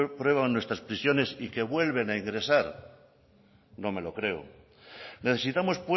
pueblan nuestras prisiones y que vuelven a ingresar no me lo creo necesitamos